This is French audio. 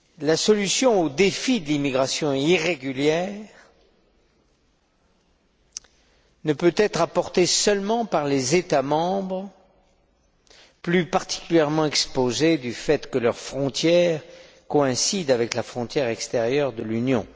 La solution au défi de l'immigration irrégulière ne peut être apportée seulement par les États membres plus particulièrement exposés du fait que leurs frontières coïncident avec la frontière extérieure de l'Union.